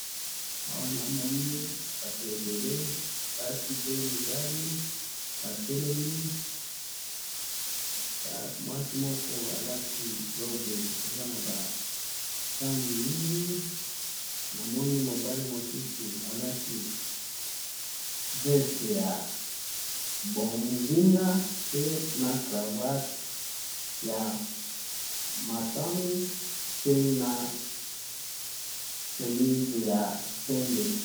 Awa na moni batu ebele basi pe mi bali, batelemi, mwasi moko alati robe eza na ma langi mingi, na moni mobali mususu alati veste ya bozinga peut na cravate ya matami pe na chemise ya pembe.